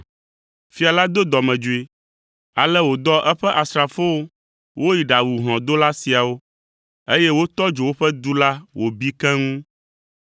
“Fia la do dɔmedzoe, ale wòdɔ eƒe asrafowo woyi ɖawu hlɔ̃dola siawo, eye wotɔ dzo woƒe du la wòbi keŋ.